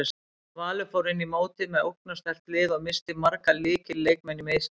Valur fór inn í mótið með ógnarsterkt lið og missti marga lykil leikmenn í meiðsli.